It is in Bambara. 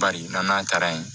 Bari n'a taara yen